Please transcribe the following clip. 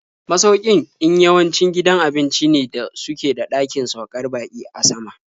Masaukin in yawanci gidan abinci ne da suke da ɗakin saukar baƙi a sama.